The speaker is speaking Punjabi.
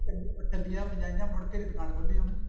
ਉਹ ਟੱਲੀਆਂ ਵਜਾਈਆਂ ਮੁੜ ਕੇ ਨੀ ਦੁਕਾਨ ਖੋਲੀ ਉਹਨੇ